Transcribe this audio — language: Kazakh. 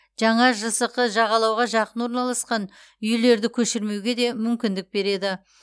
жаңа жсқ жағалауға жақын орналасқан үйлерді көшірмеуге де мүмкіндік береді